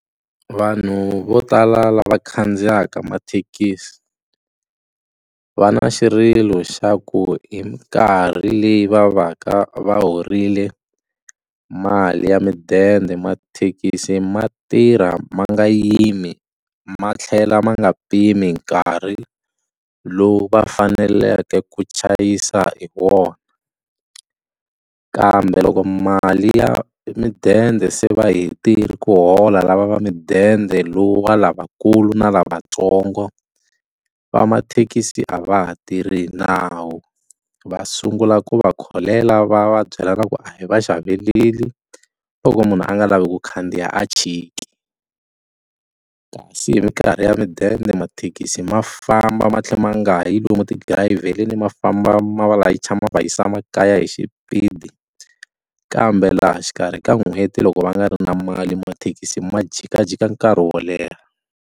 Vanhu vo tala lava khandziyaka mathekisi va na xirilo xa ku hi mikarhi leyi va va ka va horile mali ya midende mathekisi ma tirha ma nga yimi ma tlhela ma nga pimi nkarhi lowu va faneleke ku chayisa hi wona kambe loko mali ya midende se va hetile ku hola lava va midende lowu wa lavakulu na lavatsongo va mathekisi a va ha tirhi hi nawu va sungula ku va kholela va va byela na ku a hi va xaveleli loko munhu a nga lavi ku khandziya a chiki kasi hi mikarhi ya midende mathekisi ma famba ma tlhe ma nga yi lomu ti dirayivheli ma famba ma va layicha ma va yisa makaya hi xipidi kambe laha xikarhi ka n'hweti loko va nga ri na mali mathekisi ma jikajika nkarhi wo leha.